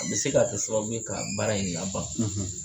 A bɛ se k'a kɛ sababu ye ka baara in laban